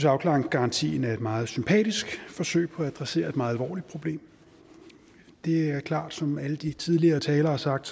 at afklaringsgarantien er et meget sympatisk forsøg på at adressere et meget alvorligt problem det er klart som alle de tidligere talere har sagt